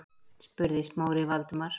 spurði Smári Valdimar.